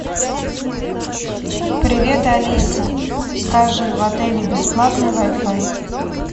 привет алиса скажи в отеле бесплатный вай фай